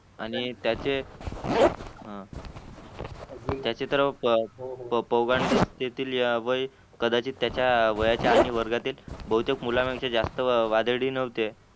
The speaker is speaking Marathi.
आणि त्याचे तर त्याचे तर तेथील यावय कदाचित त्याच्या वयाच्या आणि वर्गातील बहुटक मुळपेक्षा वदंती नव्हते